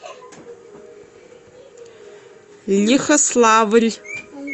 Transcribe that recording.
лихославль